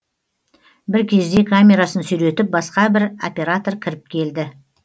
бір кезде камерасын сүйретіп басқа бір оператор кіріп келді